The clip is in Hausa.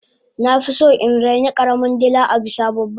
nafison in raini karamin dila abisa babban